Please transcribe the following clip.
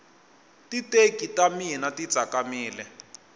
titeki ta mina ti tsakamile